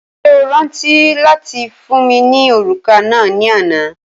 Ṣé o rántí fún mi ní òrùka náà ni àná?